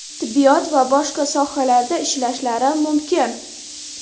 tibbiyot va boshqa sohalarda ishlashlari mumkin.